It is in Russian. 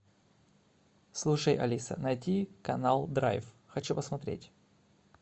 слушай алиса найди канал драйв хочу посмотреть